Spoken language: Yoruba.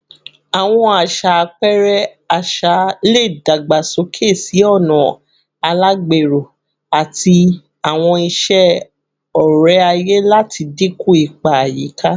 Awọn aṣa apẹrẹ aṣa le dagbasoke si ọna alagbero ati awọn iṣe ore-aye lati dinku ipa ayika